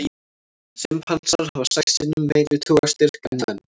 Simpansar hafa sex sinnum meiri togstyrk en menn.